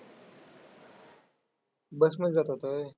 Bus मधून जात होता व्हय.